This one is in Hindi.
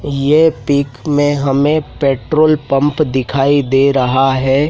ये पिक में हमें पेट्रोल पंप दिखाई दे रहा हैं।